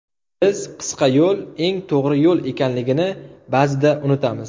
Biz qisqa yo‘l eng to‘g‘ri yo‘l ekanligini ba’zida unutamiz.